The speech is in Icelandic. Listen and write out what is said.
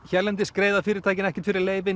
hérlendis greiða fyrirtækin ekkert fyrir leyfin